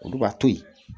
Olu b'a to yen